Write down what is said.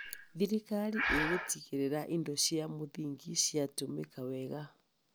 Thirikari ĩgũtigĩrĩra indo cia mũthingi ciatũmĩka wega.